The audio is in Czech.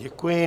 Děkuji.